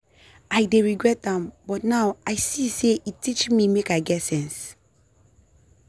i dey regret am but now i see say e teach me make i get sense.